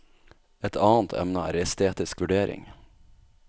Et annet emne er estetisk vurdering.